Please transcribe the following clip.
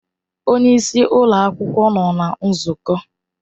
Onye isi ụlọ akwụkwọ nọ na nzukọ.